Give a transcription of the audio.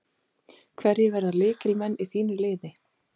Hverjir verða lykilmenn í þínu liði?